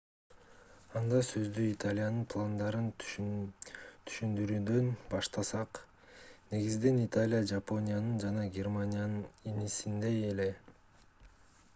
анда сөздү италиянын пландарын түшүндүрүүдөн баштасак негизинен италия жапониянын жана германиянын инисиндей эле